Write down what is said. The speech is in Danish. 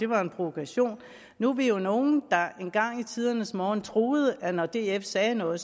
var en provokation nu er vi jo nogle der engang i tidernes morgen troede at når df sagde noget